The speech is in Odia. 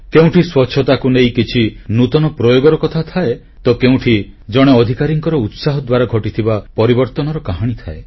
କେଉଁଠି ସ୍ୱଚ୍ଛତାକୁ ନେଇ କିଛି ନୂତନ ପ୍ରୟୋଗର କଥା ଥାଏ ତ କେଉଁଠି ଜଣେ ଅଧିକାରୀଙ୍କର ଉତ୍ସାହ ଦ୍ୱାରା ଘଟିଥିବା ପରିବର୍ତ୍ତନର କାହାଣୀ ଥାଏ